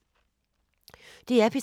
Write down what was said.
DR P3